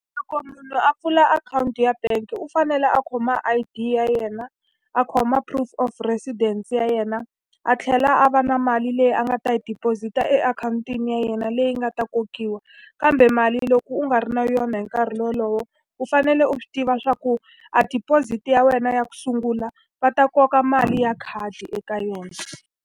Loko munhu a pfula akhawunti ya bangi u fanele a khoma I_D ya yena, a khoma proof of presidence ya yena, a tlhela a va na mali leyi a nga ta hi deposit-a akhawuntini ya yena leyi yi nga ta kokiwa. Kambe mali loko u nga ri na yona hi nkarhi wolowo, u fanele u swi tiva leswaku a deposit ya wena ya ku sungula va ta koka mali ya khadi eka yona.